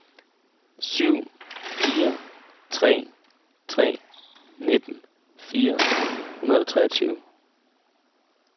syv fire tre tre nitten fire hundrede og treogtyve